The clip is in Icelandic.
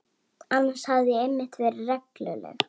Annars hef ég yfirleitt verið regluleg.